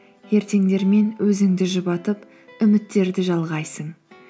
ертеңдермен өзіңді жұбатып үміттерді жалғайсың